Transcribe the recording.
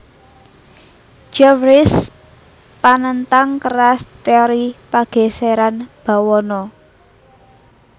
Jeffreys panentang keras téori pagèsèran bawana